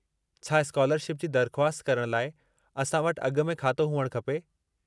छा स्कालरशिप जी दरख़्वस्त करणु लाइ असां वटि अॻु में खातो हुअणु खपे?